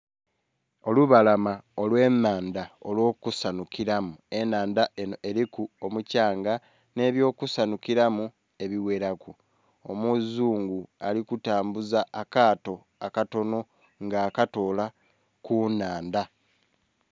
Olubalama olw'ennhandha olw'okusanhukilamu. Ennhandha enho eliku omukyanga nhi eby'okusanhukilamu ebighelaku. Omuzungu ali kutambuza akaato akatonho nga akatoola ku nnhandha.